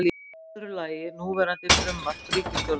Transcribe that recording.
Í öðru lagi núverandi frumvarp ríkisstjórnarinnar